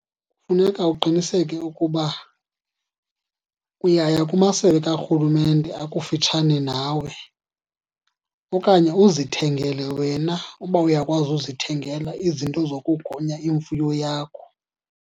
Funeka uqiniseke ukuba uyaya kumasebe karhulumente akufutshane nawe, okanye uzithengele wena uba uyakwazi uzithengela izinto zokugonya imfuyo yakho.